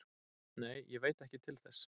Nei, ég veit ekki til þess